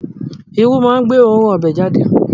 Irú máa ń gbé oòrùn ọbẹ̀ jáde